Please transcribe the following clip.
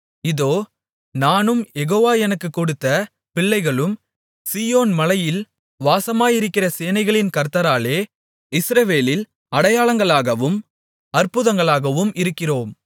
இதோ நானும் யெகோவா எனக்குக் கொடுத்த பிள்ளைகளும் சீயோன் மலையில் வாசமாயிருக்கிற சேனைகளின் கர்த்தராலே இஸ்ரவேலில் அடையாளங்களாகவும் அற்புதங்களாகவும் இருக்கிறோம்